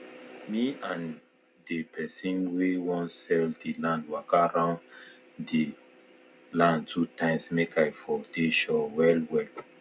me and dey pesin wen wan sell dey land waka round dey land two times make i for dey sure well well